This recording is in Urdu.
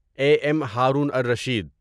a M Haroon ar Rashid